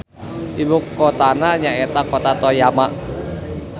Ibukotana nyaeta Kota Toyama.